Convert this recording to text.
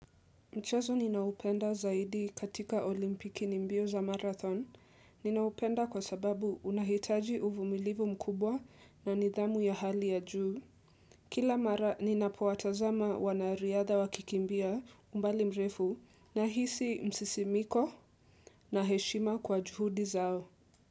Mchezo ninaoupenda zaidi katika olimpiki ni mbio za marathon, ninaupenda kwa sababu unahitaji uvumilivu mkubwa na nidhamu ya hali ya juu. Kila mara ninapowatazama wanariadha wakikimbia umbali mrefu nahisi msisimiko na heshima kwa juhudi zao.